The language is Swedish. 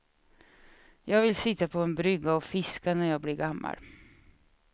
Jag vill sitta på en brygga och fiska när jag blir gammal.